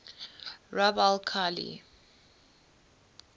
rub al khali